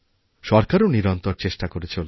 সরকারও নিরন্তর চেষ্টাকরে চলেছে